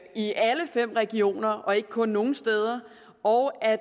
i alle fem regioner og ikke kun nogle steder og at